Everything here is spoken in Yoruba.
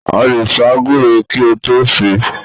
A lè sá gúre kí a tó sè é.